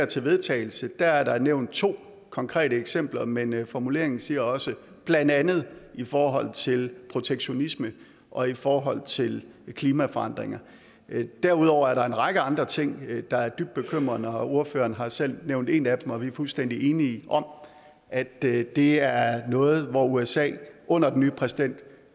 til vedtagelse der ligger er der nævnt to konkrete eksempler men men formuleringen siger også blandt andet i forhold til protektionisme og i forhold til klimaforandringer derudover er der en række andre ting der er dybt bekymrende ordføreren har selv nævnt en af dem og vi er fuldstændig enige om at det det er noget hvor usa under den nye præsident